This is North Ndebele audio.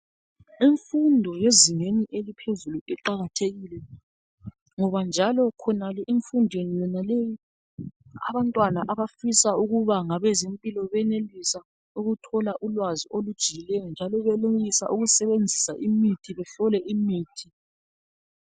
Imfundo yezingeni eliphezulu iqakathekile ngoba njalo khonale emfundweni yonaleyi abantwana abafisa ukuba ngabezempilo benelisa ukuthola ulwazi olujiyileyo njalo benelisa ukusebenzisa imithi behlole imithi.